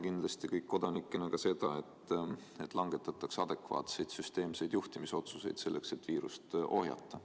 Kindlasti me kõik kodanikena ootame valitsuselt seda, et langetataks adekvaatseid süsteemseid juhtimisotsuseid, et viirust ohjata.